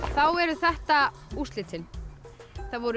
þá eru þetta úrslitin það voru